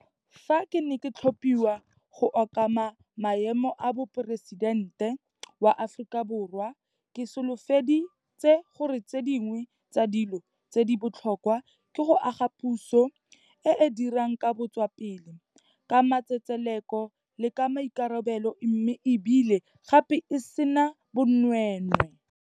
Fa ke ne ke tlhophiwa go okama maemo a Moporesitente wa Aforika Borwa, ke solofedi tse gore tse dingwe tsa dilo tse di botlhokwa ke go aga puso e e dirang ka botswa pelo, ka matsetseleko le ka maikarabelo mme e bile gape e sena bonweenwee.